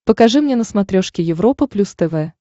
покажи мне на смотрешке европа плюс тв